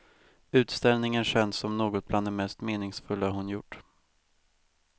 Utställningen känns som något bland det mest meningsfulla hon gjort.